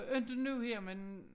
Inte nu her men